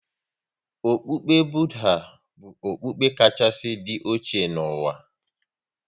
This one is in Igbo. Okpukpe Budha bụ okpukpe kachasị dị oche n'ụwa.